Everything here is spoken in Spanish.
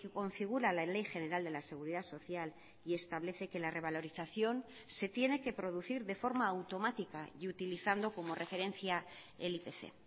configura la ley general de la seguridad social y establece que la revalorización se tiene que producir de forma automática y utilizando como referencia el ipc